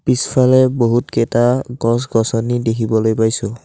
পিছফালে বহুতকেইটা গছ গছনি দেখিবলৈ পাইছোঁ।